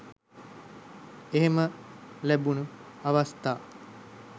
එහෙම ලැබුණු අවස්ථා